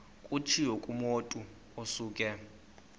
kutshiwo kumotu osuke